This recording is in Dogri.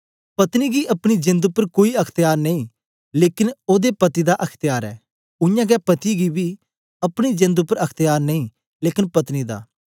पत्नी गी अपनी जेंद उपर कोई अख्त्यार नेई लेकन ओदे पति दा अख्त्यार ऐ उयांगै पति गी बी अपनी जेंद उपर अख्त्यार नेई लेकन पत्नी दा